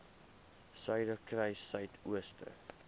suiderkruissuidooster